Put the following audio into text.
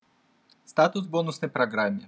статус бонусной программе